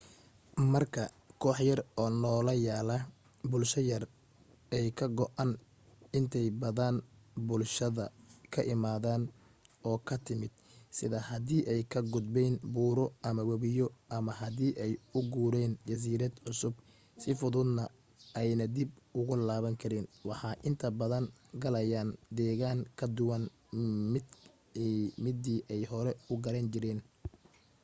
marka koox yar oo noola yaala bulsho yar ay ka go'aan inta badan bulshadee ka imaden oo ka timid sida hadii ay ka gudbeyn buuro ama wabiyo ama hadii ay u guureyn jasiirad cusub si fududna ayna dib ugu laaban karin waxa inta badan galayaan deegan ka duwan midii ay hore u garan jireen